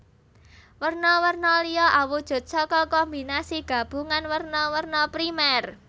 Werna werna liya awujud saka kombinasi gabungan werna werna primer